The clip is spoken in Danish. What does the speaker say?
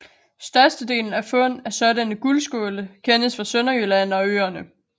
Størstedelen af fund af sådanne guldskåle kendes fra Sønderjylland og øerne